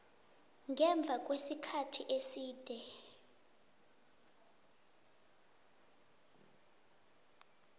ngemva kwesikhathi eside